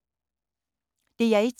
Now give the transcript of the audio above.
DR1